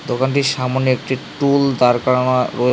দোকানটির সামোনে একটি টুল দাঁড় করানো রয়ে --